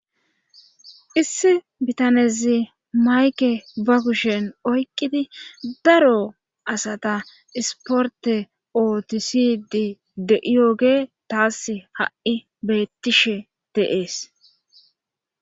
issi bitanezi mayke bakushen oyqqidi daro asata isporte ootisidi de7iyoge taas ha7i beettishe de7ees